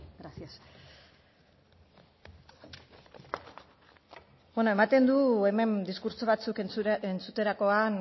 gracias bueno ematen du hemen diskurtso batzuk entzuterakoan